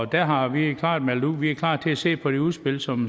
der har vi klart meldt ud at vi er klar til at se på det udspil som